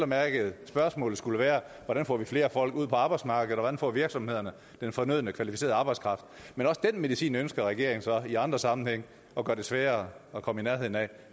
mærke hvis spørgsmålet skulle være hvordan får vi flere folk ud på arbejdsmarkedet og hvordan får virksomhederne den fornødne kvalificerede arbejdskraft men også den medicin ønsker regeringen så i andre sammenhænge at gøre det sværere at komme i nærheden af